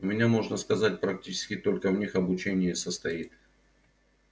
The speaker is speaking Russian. у меня можно сказать практически только в них обучение и состоит